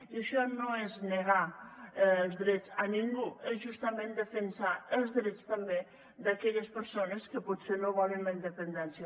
i això no és negar els drets a ningú és justament defensar els drets també d’aquelles persones que potser no volen la independència